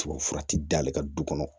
Tubabufura ti da ale ka du kɔnɔ